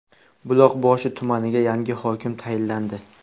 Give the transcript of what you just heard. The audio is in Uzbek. Buloqboshi tumaniga yangi hokim tayinlandi.